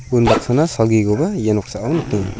unbaksana salgikoba ia noksao nikenga.